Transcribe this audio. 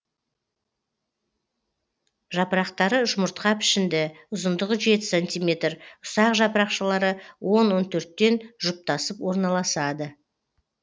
жапырақтары жұмыртқа пішінді ұзындығы жеті сантиметр ұсақ жапырақшалары он он төрттен жұптасып орналасады